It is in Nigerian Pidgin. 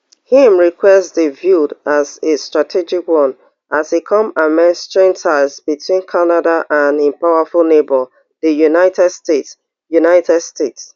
im request dey viewed as a strategic one as e come amid strained ties between canada and im powerful neighbour di united states united states